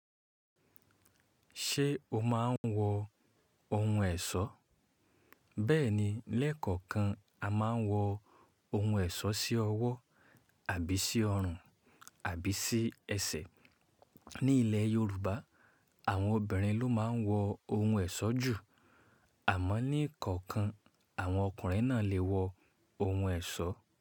Ṣé o máa ń wọ ohun ẹ̀ṣọ́? Bẹ́ẹ̀ni, lẹ́ẹ̀kọ̀okan a máa ń wọ ohun ẹ̀ṣọ́ sí ọwọ́ àbí sí ọrùn àbí sí ẹsẹ̀. Ní ilẹ̀ Yorùbá, àwọn obìnrin ló máa ń wọ ohun ẹ̀ṣọ́ jù. Àmọ́ ní eekọ̀ọ̀kan, àwọn ọkùnrin náà lè wọ ohun ẹ̀ṣọ́.